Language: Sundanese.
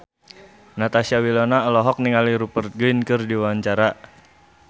Natasha Wilona olohok ningali Rupert Grin keur diwawancara